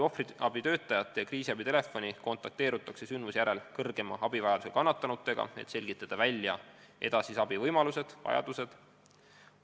Ohvriabitöötajate ja kriisiabitelefoni kaudu kontakteerutakse vajadusel kannatanutega, et selgitada välja edasise abi võimalused-vajadused.